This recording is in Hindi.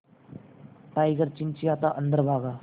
टाइगर चिंचिंयाता अंदर भागा